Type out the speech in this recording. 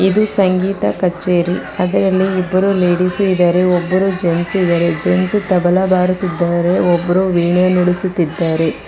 ಇದು ಸಂಗೀತ ಕಚೇರಿ ಅದರಲ್ಲಿ ಇಬ್ಬರು ಲೇಡೀಸು ಇದಾರೆ ಒಬ್ಬರು ಜೆನ್ಸ್ ಇದಾರೆ ಜೆನ್ಸ್ ತಬಲಾ ಬಾರಿಸಿದ್ದಾರೆ ಒಬ್ರು ವೀಣೆ ನುಡಿಸುತಿದ್ದಾರೆ.